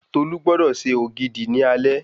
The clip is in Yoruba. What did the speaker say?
Tolú gbọdọ̀ se Ògidì ní alẹ́